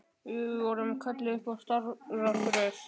Við vorum kölluð upp eftir stafrófsröð.